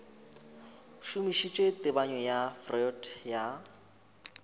šomišitše tebanyo ya freud ya